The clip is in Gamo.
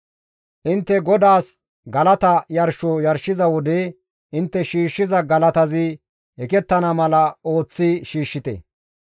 «Intte GODAAS galata yarsho yarshiza wode intte shiishshiza galatazi ekettana mala ooththi shiishshite.